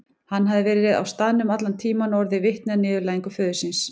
Hann hafði verið á staðnum allan tíman og orðið vitni að niðurlægingu föður síns.